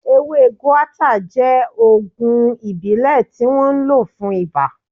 Ewé guata jẹ́ ògùn ìbílẹ̀ tí wọ́n ń lò fún iba